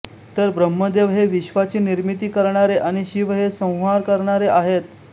तर ब्रम्हदेव हे विश्वाची निर्मिती करणारे आणि शिव हे संहार करणारे आहेत